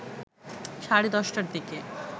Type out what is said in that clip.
সাড়ে ১০ টার দিকে